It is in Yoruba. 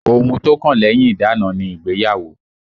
Ohun tó kàn lẹ́yìn ìdána ni ìgbéyàwó